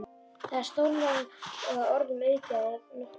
Það er stórlega orðum aukið að nokkuð.